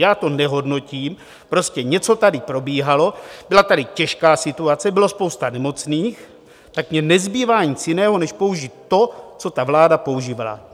Já to nehodnotím, prostě něco tady probíhalo, byla tady těžká situace, byla spousta nemocných, tak mně nezbývá nic jiného než použít to, co ta vláda používala.